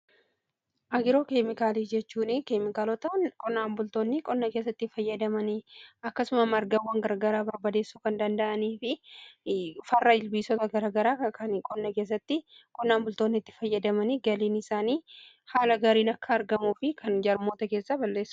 Agiroo keemikaalii jechuun keemikaalota qonnaan bultoonni qonna keessatti fayyadamaniidha. Akkasumas aramaawwan garaa garaa barbaadeessuf kan danda'uu fi farra ilbiisota garaa garaa kan qonna keessatti qonnaan bultoonni itti fayyadamanii yoo ta'u galiin isaanii haala gaariin akka argamuu fi kan jarmoota keessaa balleessuudha.